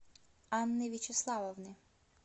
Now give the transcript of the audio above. анны вячеславовны